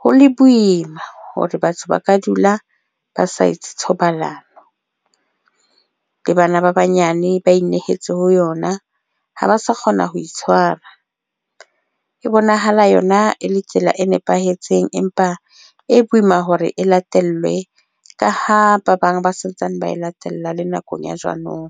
ho le boima hore batho ba ka dula ba sa etse thobalano le bana ba banyane ba inehetse ho yona, ha ba ba sa kgona ho itshwara. E bonahala yona e le tsela e nepahetseng empa e boima hore e latellwe ka ho ba bang ba sa ntsane ba latella le nakong ya jwanong.